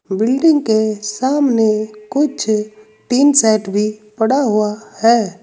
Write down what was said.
Building के सामने कुछ टीन सेट भी पड़ा हुआ है।